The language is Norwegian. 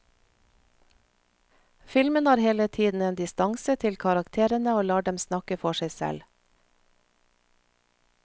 Filmen har hele tiden en distanse til karakterene og lar dem snakke for seg selv.